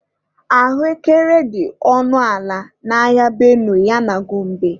Ahụekere dị ọnụ ala n'ahịa Benue ya na Gombe.